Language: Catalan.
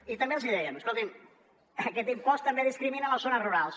i també els dèiem escoltin aquest impost també discrimina les zones rurals